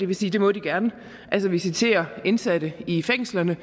vil sige det må de gerne altså visitere indsatte i fængslerne